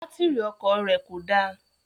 Bátírì ọkọ̀ rẹ̀ kò dá